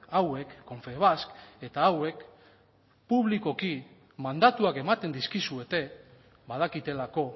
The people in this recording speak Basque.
hauek confebask eta hauek publikoki mandatuak ematen dizkizuete badakitelako